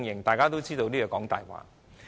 大家都知道這是謊話。